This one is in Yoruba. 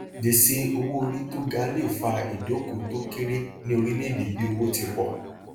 gbèsè owóorí tó ga le fa ìdókò tó kéré ni orílẹèdè bí owó ti pọ